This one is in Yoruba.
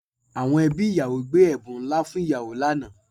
Àwọn ẹbí ìyàwó gbé ẹ̀bùn ńlá fún ìyàwó lánàá